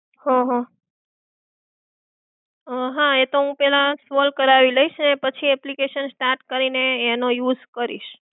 હમ્મ હ, એ તો હું પહેલા solve કરવી લઇશ પછી application start કરીને પછી એનો use કરીશ.